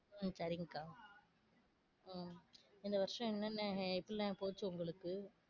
உம் சரிங் க்கா உம் இந்த வருஷம் என்னன்ன ஹம் எப்பிடியெல்லாம் போச்சு உங்களுக்கு?